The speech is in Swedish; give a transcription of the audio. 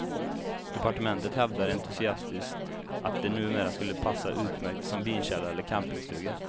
Departementet hävdar entusiastiskt att de numera skulle passa utmärkt som vinkällare eller campingstugor.